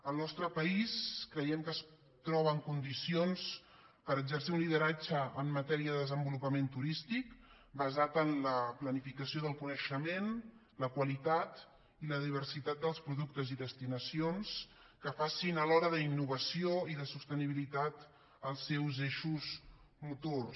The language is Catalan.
el nostre país creiem que es troba en condicions per exercir un lideratge en matèria de desenvolupament turístic basat en la planificació del coneixement la qualitat i la diversitat dels productes i destinacions que facin alhora de la innovació i la sostenibilitat els seus eixos motors